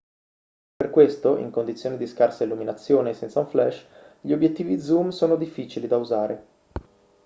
per questo in condizioni di scarsa illuminazione e senza un flash gli obiettivi zoom sono difficili da usare